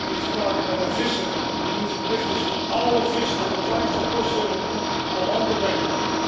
Laat hem eens praten met een visser die nu verplicht is alle vis tot de kleinste postzegel toe aan land te brengen.